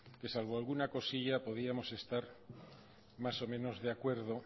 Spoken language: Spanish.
que salvo alguna cosilla podríamos estar más o menos de acuerdo